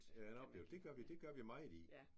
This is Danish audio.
Ja en oplevelse. Det gør vi det gør vi meget i